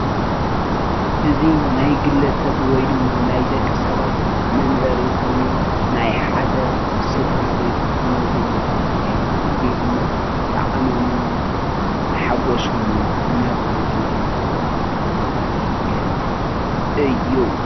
እዚ ናይ ግለ ሰብ ወይ ድማ ናይ ደቂ ሰባት መንበሪ ኮይኑ ናይ ሓደ ስድራቤት ዝነብርሉ እዩ፡፡ እዚ ድማ ጣዕሞምን ሓጎሶምን እናገለፁ ዝነብርሉ መንበሪ ገዛ እዩ፡፡